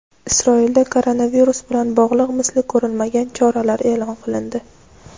Isroilda koronavirus bilan bog‘liq misli ko‘rilmagan choralar e’lon qilindi.